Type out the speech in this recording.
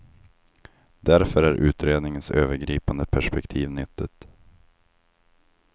Därför är utredningens övergripande perspektiv nyttigt.